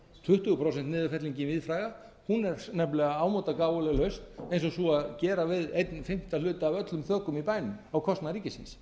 tuttugu prósent niðurfellingin víðfræga er nefnilega ámóta gáfuleg lausn og sú að gera við einn fimmta hluta af öllum þökum í bænum á kostnað ríkisins